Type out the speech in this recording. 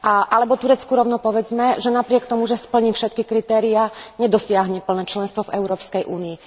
Alebo Turecku rovno povedzme, že napriek tomu, že splní všetky kritériá, nedosiahne plné členstvo v Európskej únii.